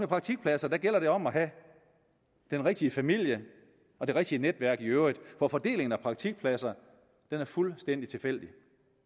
praktikpladser gælder det om at have den rigtige familie og det rigtige netværk i øvrigt for fordelingen af praktikpladser er fuldstændig tilfældig